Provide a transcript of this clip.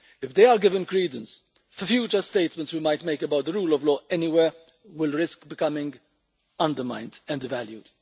If they are given credence, future statements we might make about the rule of law anywhere will risk becoming undermined and devalued.